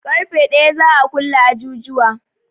Ƙarfe ɗaya za a kulle ajujuwa